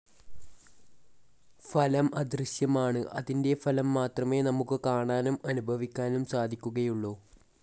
ഫലം അദൃശ്യമാണ് അതിൻ്റെ ഫലം മാത്രമേ നമുക്ക് കാണാനും അനുഭവിക്കാനും സാധിക്കുകയുള്ളൂ.